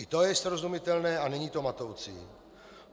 I to je srozumitelné a není to matoucí.